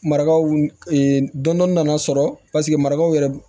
Marakaw dɔnin nana sɔrɔ marakaw yɛrɛ